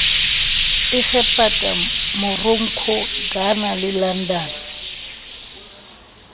egepeta morocco ghana le london